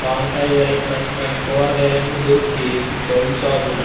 వంకాయలు మంచి మంచి కూరగాయలు దొరుకుతాయి ఈ పళ్ళు షాప్ లోన.